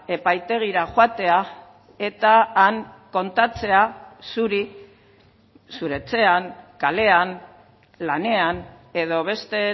epaitegira joatea eta han kontatzea zuri zure etxean kalean lanean edo beste